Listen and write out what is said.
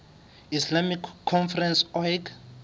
islamic conference oic